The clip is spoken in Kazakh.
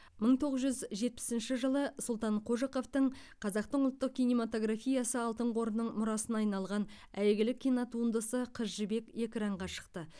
мың тоғыз жүз жетпісінші жылы сұлтан қожықовтың қазақтың ұлттық кинематографиясы алтын қорының мұрасына айналған әйгілі кинотуындысы қыз жібек экранға шықты